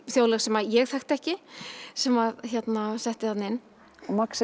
þjóðlög sem ég þekkti ekki sem hann setti þarna inn og